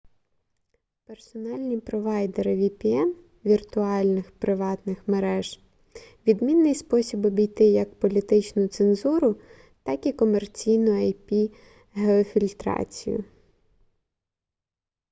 персональні провайдери vpn віртуальних приватних мереж — відмінний спосіб обійти як політичну цензуру так і комерційну ip-геофільтрацію